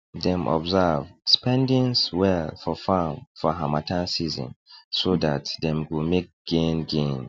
dem observe spendings well for farm for harmattan season so dat dem go make gain gain